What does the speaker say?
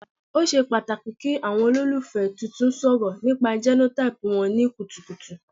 O ṣe pataki ki awọn ololufẹ tuntun sọrọ nipa genotype wọn ni kutukutu